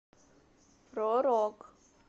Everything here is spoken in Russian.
про рок